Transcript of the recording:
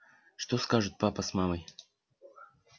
что скажут папа с мамой